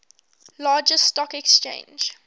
largest stock exchange